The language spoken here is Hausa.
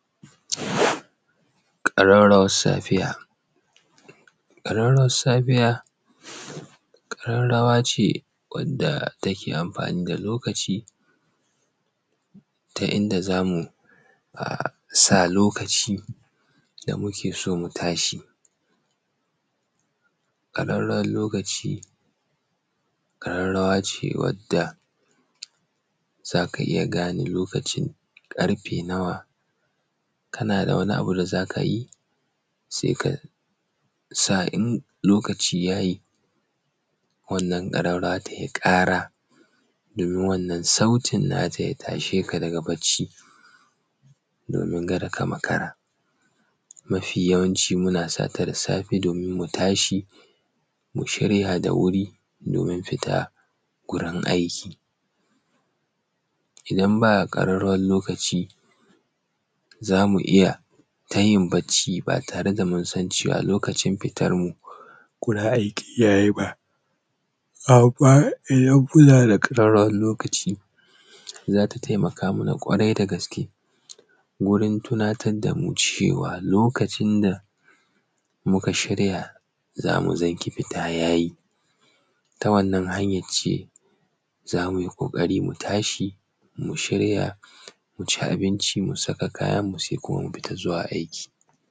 Ƙararrawar safiya. Ƙararrawar safiya, ƙararrawa ce wanda take amfani da lokaci ta inda za mu sa lokaci da muke so mu tashi. Ƙararrawar lokaci ƙararrawa ce wanda za ka iya gane lokacin ƙarfe nawa, kana da wani abu da zaka yi sai ka sa in lokaci yayi wannan ƙararrawa tai ƙara domin wannan sautin na ta ya tashe ka daga bacci, domin kada ka makara. Mafi yawanci muna sa ta da safe domin mu tashi mu shirya da wuri domin fita gurin aiki. Idan ba ƙararrawar lokaci zamu iya ta yin bacci ba tare da munsan cewa lokacin fitar mu gurin aiki yayi ba. amman idan muna da ƙararrawar lokaci za ta taimaka mana ƙwarai da gaske wurin tunatar damu cewa lokacin muka shirya zamu fita yayi. Ta wannan hanyan ce za mu yi ƙoƙari mu tashi, mu shirya, mu ci abinci, mu saka kayan mu sai kuma mu fita zuwa aiki.